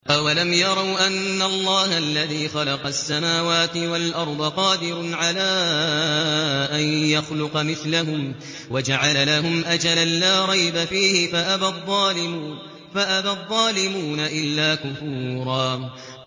۞ أَوَلَمْ يَرَوْا أَنَّ اللَّهَ الَّذِي خَلَقَ السَّمَاوَاتِ وَالْأَرْضَ قَادِرٌ عَلَىٰ أَن يَخْلُقَ مِثْلَهُمْ وَجَعَلَ لَهُمْ أَجَلًا لَّا رَيْبَ فِيهِ فَأَبَى الظَّالِمُونَ إِلَّا كُفُورًا